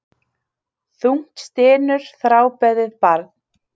Þungt stynur þrábeðið barn.